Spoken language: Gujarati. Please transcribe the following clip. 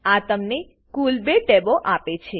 આ તમને કુલ 2 ટેબો આપે છે